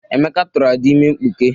Emeka tụrụ Ada ime mkpuke.